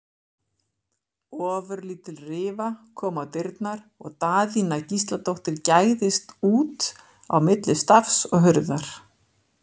Ofurlítil rifa kom á dyrnar og Daðína Gísladóttir gægðist út á milli stafs og hurðar.